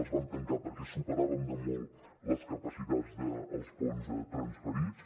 les vam tancar perquè superàvem de molt les capacitats dels fons transferits